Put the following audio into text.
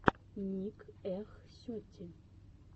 ник эх сети